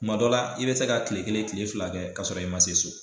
Kuma dɔ la i bi se ka kile kelen kile fila kɛ ka sɔrɔ i ma se so